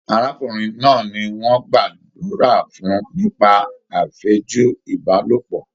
Arákùnrin náà ní wọn gbàdúrà fún nípa afẹju Ibalopọ.